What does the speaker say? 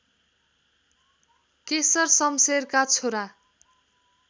केशरशमशेरका छोरा